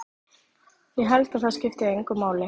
Ég held að það skipti engu máli.